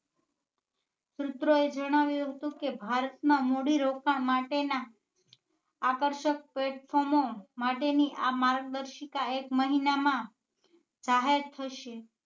સુત્રો એ જણાવ્યું હતું કે ભારત માં મૂડી રોકાણ માટે ના આકર્ષક platform માટે ની આ માર્ગ્દર્શીકતા એક મહિના માં જાહેર થશે